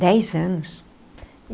Dez anos.